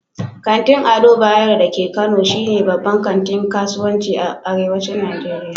Kantin Ado Bayero da ke Kano shi ne babbar kantin kasuwanci a arewacin Nijeriya